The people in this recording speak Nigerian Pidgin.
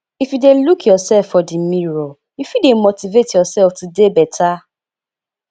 if you de look yourself for di mirror you fit de motivate yourself to dey better